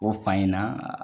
U ko f'an ɲɛna